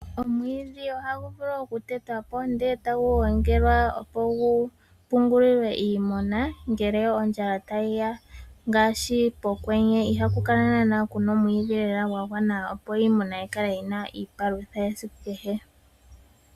Omwiidhi ohagu vulu oku tetwapo ndele tagu gongelwa opo gu pungulilwe iimuna ngele ondjala tayiya ngaashi pokwenye ihaku kala naanaa kuna omwiidhi lela gwa gwana opo iimuna yikale yina iipalutha yesiku kehe.